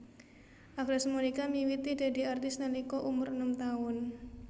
Agnes Monica miwiti dadi artis nalika umur enem taun